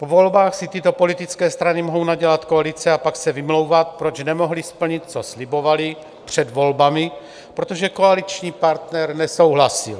Po volbách si tyto politické strany mohou nadělat koalice a pak se vymlouvat, proč nemohly splnit, co slibovaly před volbami, protože koaliční partner nesouhlasil.